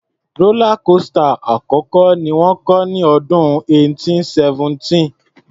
Rọ́lá kósità àkọ́kọ́ ni wọ́n kọ́ ní ọdún 1817.